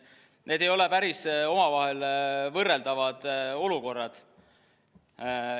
Need ei ole päris omavahel võrreldavad olukorrad.